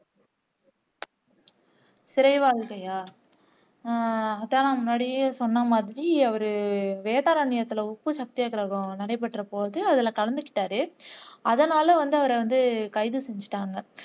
சிறை வாழ்க்கையா உம் அதான் நான் முன்னாடியே சொன்ன மாதிரி அவர் வேதாரன்யத்துல உப்பு சத்யாகிரகம் நடைபெற்ற போது அதுல கலந்து கிட்டார் அதனால் வந்து அவர வந்து கைது செஞ்சுட்டாங்க